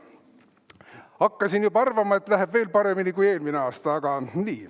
Hakkasin juba arvama, et läheb veel paremini kui eelmine aasta.